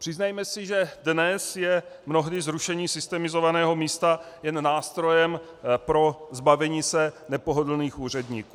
Přiznejme si, že dnes je mnohdy zrušení systemizovaného místa jen nástrojem pro zbavení se nepohodlných úředníků.